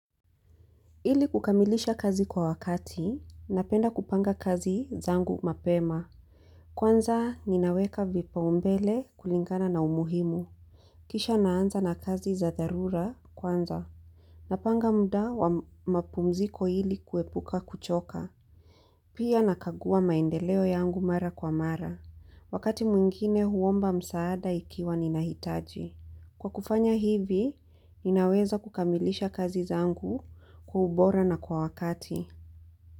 Ili kukamilisha kazi kwa wakati, napenda kupanga kazi zangu mapema. Kwanza, ninaweka vipau mbele kulingana na umuhimu. Kisha naanza na kazi za dharura kwanza. Napanga muda wa mapumziko ili kuepuka kuchoka. Pia nakagua maendeleo yangu mara kwa mara. Wakati mwingine huomba msaada ikiwa ninahitaji. Kwa kufanya hivi, ninaweza kukamilisha kazi zangu kwa ubora na kwa wakati.